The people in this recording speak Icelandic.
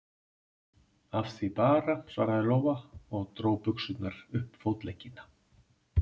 Af því bara, svaraði Lóa og dró buxurnar upp fótleggina.